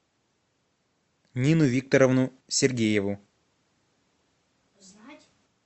нину викторовну сергееву